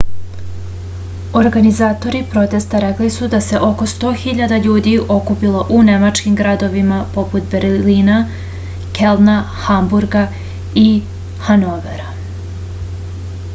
organizatori protesta rekli su da se oko 100 000 ljudi okupilo u nemačkim gradovima poput berlina kelna hamburga i hanovera